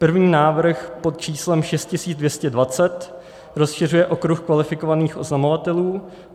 První návrh pod číslem 6220 rozšiřuje okruh kvalifikovaných oznamovatelů.